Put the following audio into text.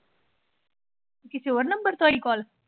ਕਿਸੇ ਹੋਰ number ਤੋਂ ਆਈ call?